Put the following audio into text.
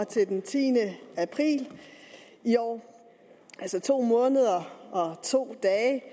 til den tiende april i år altså to måneder og to dage